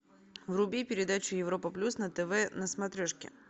вруби передачу европа плюс на тв на смотрешке